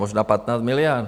Možná 15 miliard.